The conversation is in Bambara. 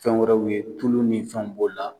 Fɛn wɛrɛw ye tulu ni fɛn b'o la.